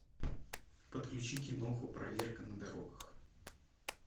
подключи киноху проверка на дорогах